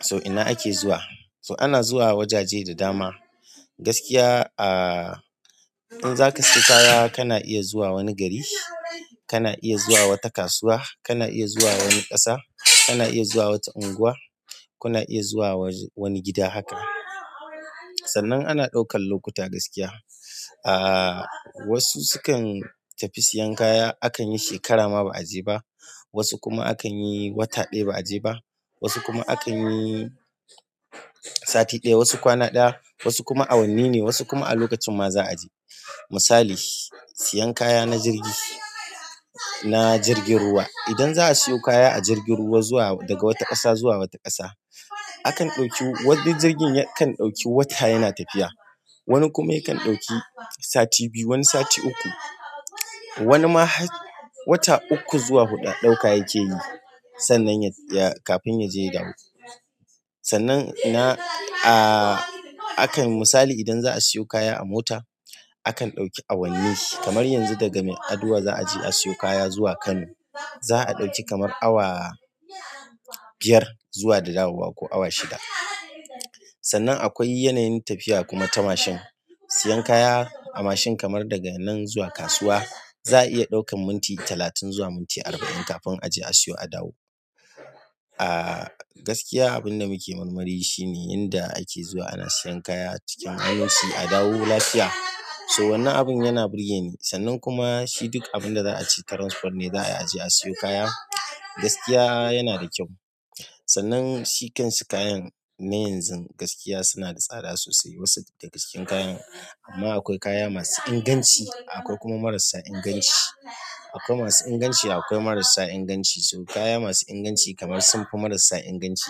So ina ake zuwa, so ana zuwa wajaje da dama. Gaskiya ah in zaka saye kaya kana iya zuwa wani gari, kana iya zuwa wata kasuwa, kana iya zuwa wani ƙasa, kana iya zuwa wata unguwa, kuna iya zuwa wani gida haka. Sannan ana ɗaukan lokuta gaskiya. Ah wasu sukan tafi sayan kaya akan yi shekara ma ba a je ba, wasu kuma akan yi wata ɗaya ba a je ba, wasu kuma akan yi sati ɗaya, wasu kwana ɗaya, wasu kuma awanni ne, wasu kuma a lokacin ma za a je. Misali, sayan kaya na jirgi, na jirgin ruwa. Idan za a sayo kaya a jirgin ruwa zuwa daga wata ƙasa zuwa wata ƙasa, akan ɗauki wanda jirgin kan ɗauki wata yana tafiya. Wani kuma yake ɗauki sati biyu, wani sati uku, wani ma wata uku zuwa huɗu ɗauka yake yi. Sannan kafin ya je ya dawo. Sannan ah akan misali idan za a sayo kaya a mota, akan ɗauki awanni kamar yanzu daga Mai'aduwa za a je a sayo kaya zuwa Kano. Za a ɗauki kamar awa biyar zuwa da dawowa ko awa shida. Sannan akwai yanayin tafiya kuma ta mashin. Siyen kaya a mashin kamar daga nan zuwa kasuwa za a iya ɗaukan minti talatin zuwa minti arba'in kafin a je a siyo a dawo. Ah gaskiya abin da muke marmari shine inda ake zuwa ana sayan kaya cikin aminci, a dawo lafiya. So wannan abin yana burge ni. Sannan kuma shi duk abin da za a ci transfer ne za a je a sayo kaya. Gaskiya yana da kyau. Sannan su kansu kayan na yanzu gaskiya suna da tsada sosai wasu daga cikin kayan amma akwai kaya masu inganci akwai kuma marasa inganci. Akwai masu inganci akwai marasa inganci. To kaya masu inganci kamar sun fi marasa inganci.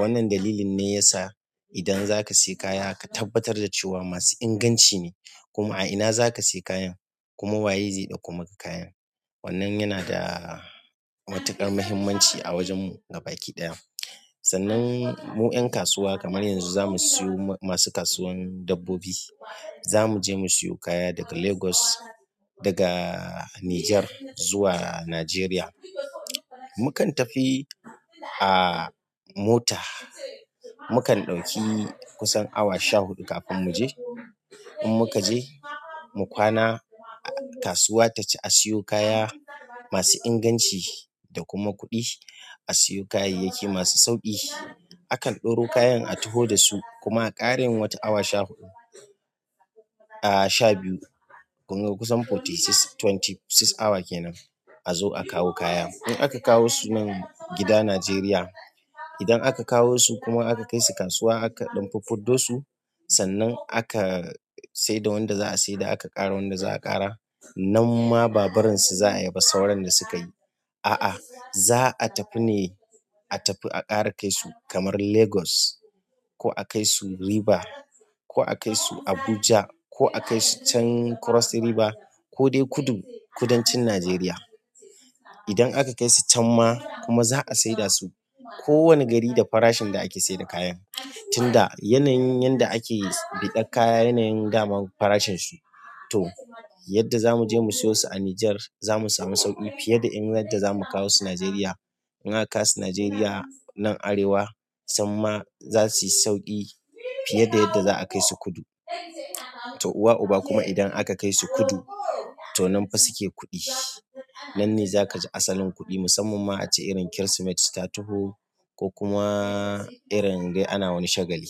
Wannan dalilin ne yasa idan zaka saye kaya ka tabbatar da cewa masu inganci ne. Kuma a ina za ka sayi kayan, kuma waye zai ɗauko maka kayan. Wannan yana da matuƙar muhimmanci a wajen mu gabaɗaya. Sannan mu 'yan kasuwa kamar yanzu za mu siyo masu kasuwan dabbobi. Za mu je mu sayo kaya daga Lagos, daga Niger zuwa Najeriya. Mukan tafi a mota. Mukan ɗauki kusan awa sha huɗu kafin mu je. In muka je, mu kwana a kasuwa taci a sayo kaya masu inganci da kuma kuɗi. A sayo kayayyaki masu sauƙi. Akan ɗauro kayan a taho dasu kuma a ƙara yin wata awa sha huɗu ah sha biyu kunga kusan twenty four hours kenan a zo a kawo kaya. In aka kawo su nan gida Najeriya, idan aka kawo su kuma aka kai su kasuwa aka ɗan fiffidosu, sannan aka saida wanda za a saida aka ƙara wanda za a ƙara. Nan ma ba barinsu za a yi ba sauran da suka yi. A'a, za a tafi ne a tafi a ƙara kai su kamar Lagos ko a kai su River ko a kai su Abuja ko a kai su can Cross River ko dai kudu kudancin Najeriya. Idan aka kai su can ma kuma za a saida su ko wane gari da farashin da ake saida kayan. Tunda yanayin yadda ake biɗan kaya, yanayin dama farashin su. Toh yadda zamu je mu sayo su a niger zamu samu sauƙi fiye da in yadda zamu kawo su nigeria in aka kawo su Najeriya nan Arewa sannan za su yi sauƙi fiye da yadda za a kai su kudu. To uwa uba kuma idan aka kai su kudu to nan fa suke kuɗi. Nan ne za ka ji asalin kuɗi musamman ma ace irin Kirsimeti ta taho ko kuma irin dai ana wani shagali.